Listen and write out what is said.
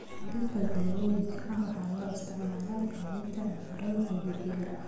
Dhirta daawooyinka ah waxaa loo isticmaalaa daaweynta cudurrada dabiiciga ah.